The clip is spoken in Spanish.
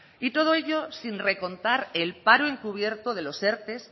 y todo ello sin recontar el paro encubierto de los erte